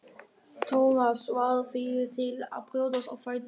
Thomas varð fyrri til að brjótast á fætur.